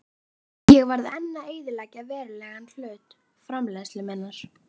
Ég varð enn að eyðileggja verulegan hluta framleiðslu minnar.